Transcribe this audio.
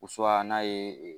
n'a ye